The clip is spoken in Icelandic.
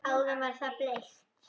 Áðan var það bleikt.